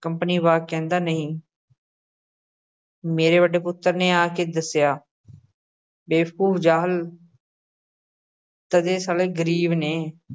Company ਬਾਗ਼, ਕਹਿੰਦਾ ਨਹੀਂ ਮੇਰੇ ਵੱਡੇ ਪੁੱਤਰ ਨੇ ਆ ਕੇ ਦੱਸਿਆ ਬੇਵਕੂਫ਼, ਜਾਹਲ ਤਦੇ ਸਾਲ਼ੇ ਗ਼ਰੀਬ ਨੇ।